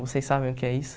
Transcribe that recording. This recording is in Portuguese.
Vocês sabem o que é isso?